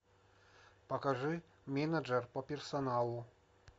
покажи менеджер по персоналу